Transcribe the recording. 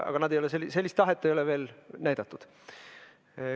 Aga sellist tahet ei ole veel näidatud.